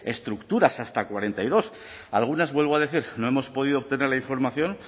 estructuras hasta cuarenta y dos algunas vuelvo a decir no hemos podido obtener la información